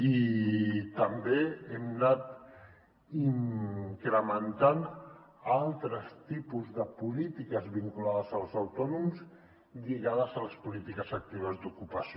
i també hem anat incrementant altres tipus de polítiques vinculades als autònoms lligades a les polítiques actives d’ocupació